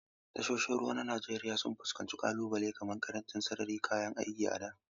Tashoshin ruwa na Najeriya sun fuskanci ƙalubale kamar ƙarancin sararin da kayan aiki a da.